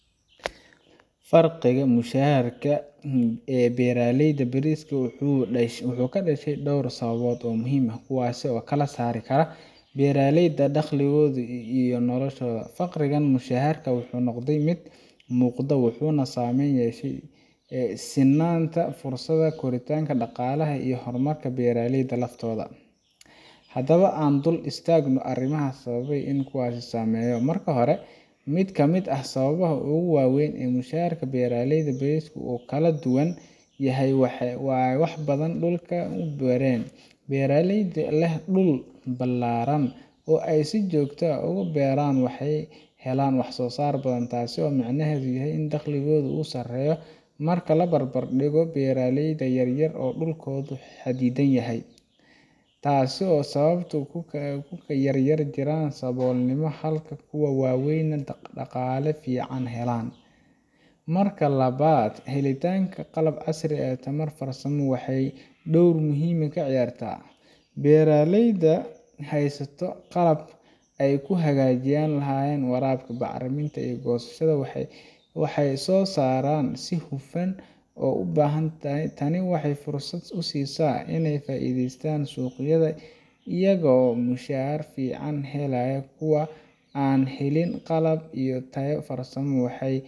Fariqiga mushaharka ee beeraleyda bariiska wuxuu ka dhashay dhowr sababood oo muhiim ah, kuwaasoo u kala saari kara beeraleyda dakhligooda iyo noloshooda. Fariqigan mushahar wuxuu noqday mid muuqda, wuxuuna saameyn ku yeeshaa sinnaanta fursadaha, koritaanka dhaqaalaha iyo horumarka beeraleyda laftooda. Haddaba aan dul istaagno arrimaha sababa iyo kuwa uu saameeyo. Marka hore, mid ka mid ah sababaha ugu waaweyn ee mushaharka beeraleyda bariiska uu u kala duwan yahay waa baaxadda dhulka ay beeraan. Beeraleyda leh dhul ballaaran oo ay si joogto ah ugu beeraan waxay helaan wax-soo-saar badan, taasoo micnaheedu yahay in dakhligooda uu sareeyo marka la barbar dhigo beeraleyda yar-yar oo dhulkoodu xaddidan yahay. Taasoo sababta in kuwa yaryar ay ku jiraan saboolnimo halka kuwa waaweyn ay dhaqaale fiican helaan. Marka labaad, helitaanka qalab casri ah iyo tababar farsamo waxay door weyn ka ciyaaraan. Beeraleyda haysta qalabkii ay ku hagaajin lahaayeen waraabka, bacriminta iyo goosashada waxay wax soo saaraan si hufan oo badan. Tani waxay fursad u siisaa inay ka faa’iideystaan suuqyada iyagoo mushahar fiican helaya. Kuwa aan helin qalab iyo taageero farsamo waxay